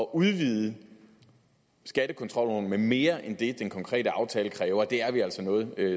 udvide skattekontrolloven med mere end det den konkrete aftale kræver er vi altså noget